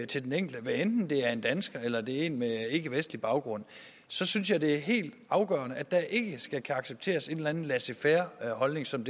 til den enkelte hvad enten det er en dansker eller det er en med ikkevestlig baggrund synes jeg det er helt afgørende at der ikke accepteres en eller anden laissez faire holdning som